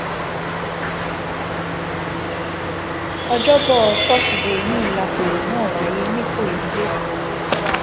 ọjọbọ tọsídẹẹ yìí làpérò náà wáyé nìkòyí lẹkọọ